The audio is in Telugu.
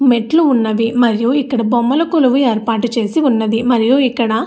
మెట్లు ఉన్నవి. మరియు ఇక్కడ బొమ్మలు కొలువు ఏర్పాటు చేసి ఉన్నది. మరియు ఇక్కడ --